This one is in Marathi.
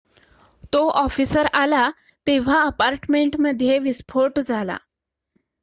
तो ऑफिसर आला तेव्हा अपार्टमेंटमध्ये विस्फोट झाला